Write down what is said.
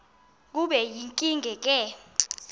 kube yinkinge ke